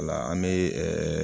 Ola an be